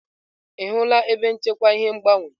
Ị hụla ebe nchekwa ihe ngbanwe?